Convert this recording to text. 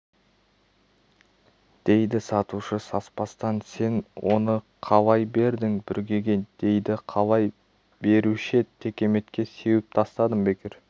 дейді сатушы саспастан сен оны қалай бердің бүргеге дейді қалай беруші еді текеметке сеуіп тастадым бекер